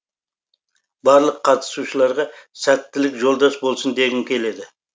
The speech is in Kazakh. барлық қатысушыларға сәттілік жолдас болсын дегім келеді